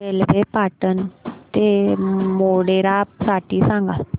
railway Patan ते मोढेरा साठी सांगा